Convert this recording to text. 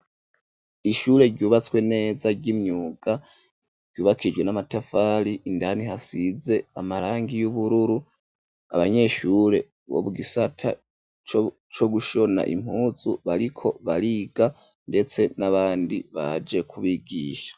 Ishure rubatswe neza ry'imyuga rubakishijwe namatafari indani hasize amarangi yobururu abanyeshure bo gisata cogushona impunzu bariko bariga ndetse nabandi baje kubigisha.